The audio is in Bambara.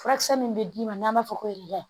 Furakisɛ min bɛ d'i ma n'an b'a fɔ ko